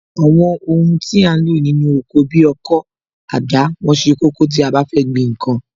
Àwọn ohun tí a ń lò nínú oko bi ọkọ́, àdá, wọ́n ṣe kókó tí a bá fẹ́ gbìn ǹkan